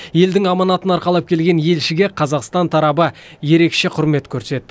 елдің аманатын арқалап келген елшіге қазақстан тарабы ерекше құрмет көрсетті